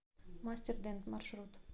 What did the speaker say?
мастер дент маршрут